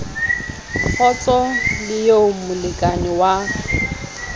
kgotso le eo molekane wa